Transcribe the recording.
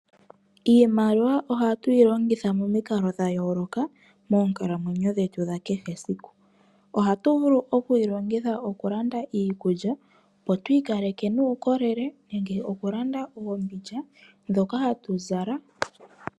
Iimliwa ohatuyi longitha momikalo dha yooloka monkala mwenyo dhetu dha kehe esiku. Ohatu vulu okuyi longitha okulanda iikulya opo twi kaleke nuukolele nenge okulanda oombindja dhoka hatu zala.